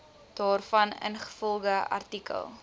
daarvan ingevolge artikel